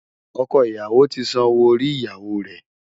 Ọkọ ìyàwó ti san owó orí ìyàwó rẹ̀.